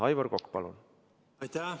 Aivar Kokk, palun!